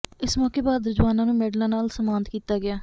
ਇਸ ਮੌਕੇ ਬਹਾਦਰ ਜਵਾਨਾਂ ਨੂੰ ਮੈਡਲਾਂ ਨਾਲ ਸਨਮਾਨਤ ਕੀਤਾ ਗਿਆ